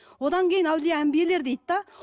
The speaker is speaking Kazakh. одан кейін әулие әмбиелер дейді де